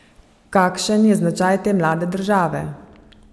Kakšen je značaj te mlade države?